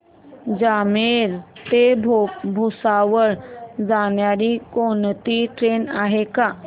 जामनेर ते भुसावळ जाणारी कोणती ट्रेन आहे का